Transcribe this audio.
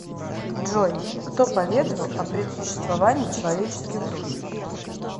джой кто поведовал о предсуществовании человеческих душ